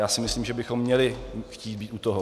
Já si myslím, že bychom měli chtít být u toho.